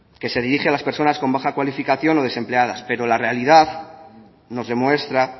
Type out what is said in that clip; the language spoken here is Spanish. que se dirige a las personas con baja cualificación o desempleadas pero la realidad nos demuestra